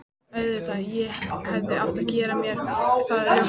Auðvitað, ég hefði átt að gera mér það ljóst strax.